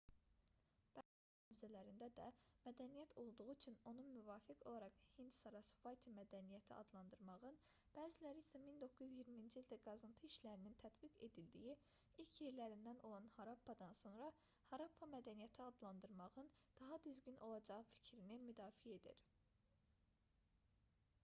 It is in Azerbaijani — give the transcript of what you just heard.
bəzi alimlər hazırda qurumuş sarasvati çayının hövzələrində də mədəniyyət olduğu üçün onun müvafiq olaraq hind-sarasvati mədəniyyəti adlandırmağın bəziləri isə 1920-ci ildə qazıntı işlərinin tətbiq edildiyi ilk yerlərindən olan harappadan sonra harappa mədəniyyəti adlandırmağın daha düzgün olacağı fikrini müdafiə edir